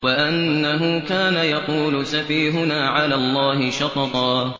وَأَنَّهُ كَانَ يَقُولُ سَفِيهُنَا عَلَى اللَّهِ شَطَطًا